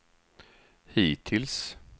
hittills